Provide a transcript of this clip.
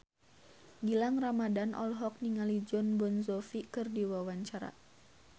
Gilang Ramadan olohok ningali Jon Bon Jovi keur diwawancara